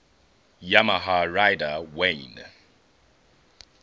yamaha rider wayne